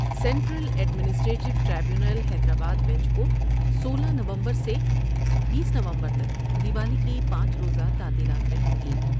Central administrative tribunal Hyderabad bench کو سولہ نومبر سے بیس نومبر تک دیوالی کی پانچ روز تعطیلات رہیں گی ۔